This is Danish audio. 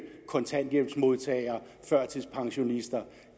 kontanthjælpsmodtagere førtidspensionister